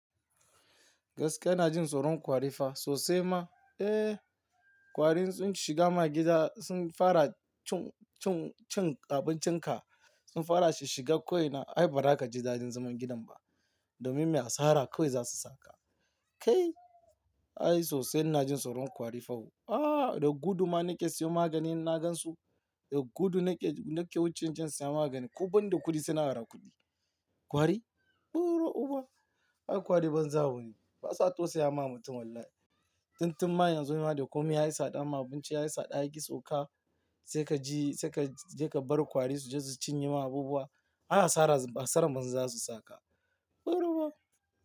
Gaskiya ina jin tsoron ƙwari fa sosai ma. Eh, ƙwari in sun shiga ma gida sun fara cin, cin, cin abincinka, sun fara shish-shiga ko ina ai ba zaka ji daɗin zaman gidan ba. Domin me? Asara kawai za su saka. Kai! Ai sosai ina jin tsoron ƙwari fa wo. Ah, da gudu ma na ke siyo maganin in na gansu. Da gudu nake wuce inje insa maganin ko banda kuɗi sai na ara kai buro-uba kar ku ajiye banza wani basa tausayama mutum wallahi dun tunma yanzu ma da komai yayi tsada ma abinci yayi tsada yaƙi sauka sai ka bari ƙwari suje su cinye ma abubuwa Ai asaran Banza zasu saka buro- uba.